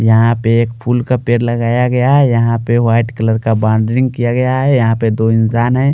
यहां पे एक फूल का पेड़ लगाया गया है यहां पे वाइट कलर का बाउंड्रिंग